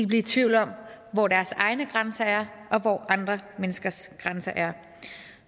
blive i tvivl om hvor deres egne grænser er og hvor andre menneskers grænser er